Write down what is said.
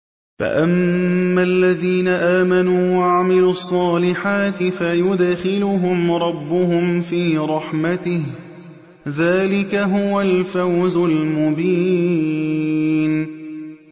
فَأَمَّا الَّذِينَ آمَنُوا وَعَمِلُوا الصَّالِحَاتِ فَيُدْخِلُهُمْ رَبُّهُمْ فِي رَحْمَتِهِ ۚ ذَٰلِكَ هُوَ الْفَوْزُ الْمُبِينُ